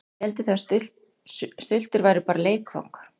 Hélduð þið að stultur væru bara leikvang?